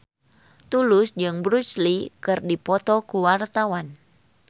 Tulus jeung Bruce Lee keur dipoto ku wartawan